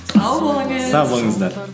сау болыңыз сау болыңыздар